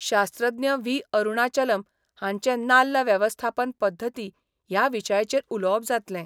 शास्त्रज्ञ व्ही अरूणाचलम हांचें नाल्ल वेवस्थापन पध्दती ह्या विशयाचेर उलोवप जातलें.